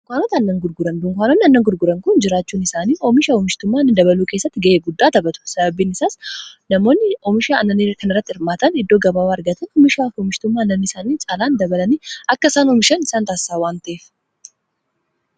dunkaananoota aannan gurguran dunkaanoonni aannan gurguran kun jiraachuun isaanii oomisha oomishtummaa annanii dabaluu keessatti ga'ee guddaa taphatu sababiin isaas namoonni oomisha aannanii kana irratti hirmaatan iddoo gababa argatan oomishaa oomishtumma annan isaanii caalaan dabalanii akka isaan oomishan isaan taasisa waan ta'ef.